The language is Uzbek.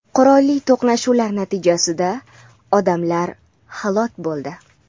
qurolli to‘qnashuvlar natijasida odamlar halok bo‘ldi.